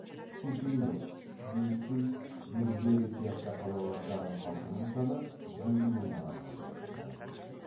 кишинев бельцы бендеры сияқты қалалардағы халқының саны жүз мың адамға жетті